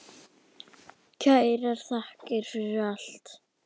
Kærar þakkir fyrir allt.